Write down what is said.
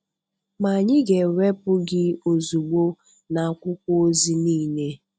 ma anyị ga-ewepụ gị ozugbo na akwụkwọ ozi niile